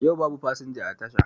Yau babu fasinja a tasha